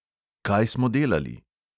Kaj smo delali?